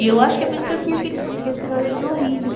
E eu acho que é por isso que eu tinha aqueles aqueles pesadelos horríveis.